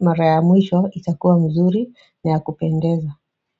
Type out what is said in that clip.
mara ya mwisho itakuwa mzuri na ya kupendeza.